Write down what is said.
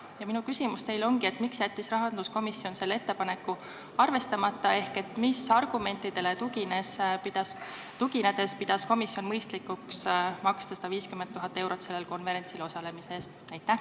Ja minu küsimus teile ongi: miks jättis rahanduskomisjon selle ettepaneku arvestamata ehk mis argumentidele tuginedes pidas komisjon mõistlikuks maksta 150 000 eurot sellel konverentsil osalemise eest?